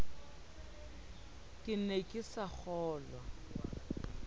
ke ne ke sa kgolwe